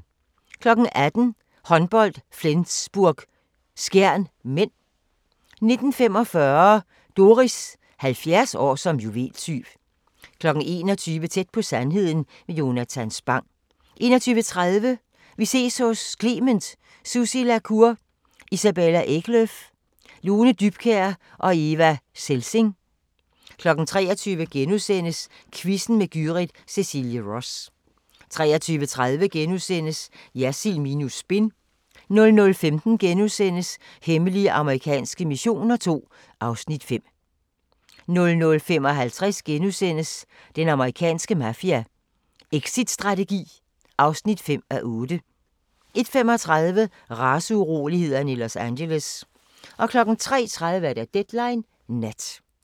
18:00: Håndbold: Flensburg-Skjern (m) 19:45: Doris – 70 år som juveltyv 21:00: Tæt på sandheden med Jonatan Spang 21:30: Vi ses hos Clement: Sussi La Cour, Isabella Eklöf, Lone Dybkjær og Eva Selsing 23:00: Quizzen med Gyrith Cecilie Ross * 23:30: Jersild minus spin * 00:15: Hemmelige amerikanske missioner II (Afs. 5)* 00:55: Den amerikanske mafia: Exitstrategi (5:8)* 01:35: Raceurolighederne i Los Angeles 03:30: Deadline Nat